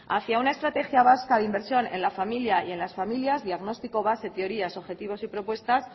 hacia una estratégica vasca de inversión en la familia y en las familias diagnóstico base teorías objetivos y propuestas